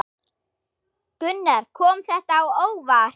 Gunnar: Kom þetta á óvart?